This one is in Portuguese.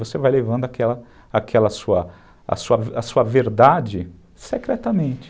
Você vai levando aquela aquela sua verdade secretamente.